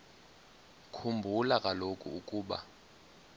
khumbula kaloku ukuba